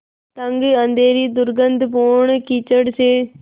तंग अँधेरी दुर्गन्धपूर्ण कीचड़ से